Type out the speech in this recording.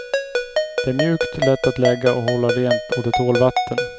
Det är mjukt, lätt att lägga och hålla rent och det tål vatten.